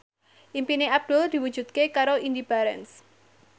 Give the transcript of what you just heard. impine Abdul diwujudke karo Indy Barens